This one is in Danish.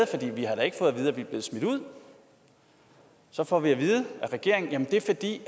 vi er smidt ud så får vi at vide af regeringen jamen det er fordi